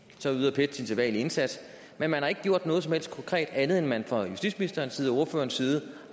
så yder pet sin sædvanlige indsats men man har ikke gjort noget som helst konkret andet end at man fra justitsministerens side og ordførerens side